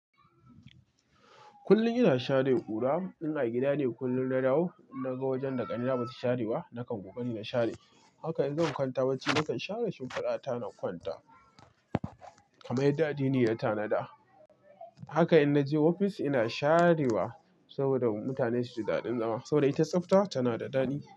Kullum ina share ƙura. In a gida ne kullum na dawo, na ga wajen da ƙanina ba ta share ba, nakan kokari na share. Haka in zan kwanta bacci, nakan share shimfiɗa ta na kwanta, kamar yadda addini ya tanada. Haka in naje ofis ina sharewa saboda mutane su ji daɗin zama saboda ita tsafta tana da dadi.